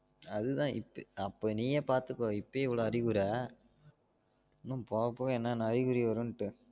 அது இப்ப அப்போ நீயே பாத்துக்கோ இப்பயே இவ்ளோ அறிவுர இன்னும் போக போக என்ன என்ன அறிகுறி வரும்ட்டு